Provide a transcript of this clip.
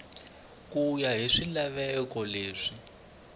ku ya hi swilaveko leswi